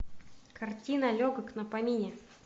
картина легок на помине